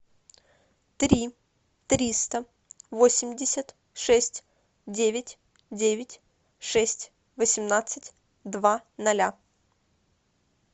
три триста восемьдесят шесть девять девять шесть восемнадцать два ноля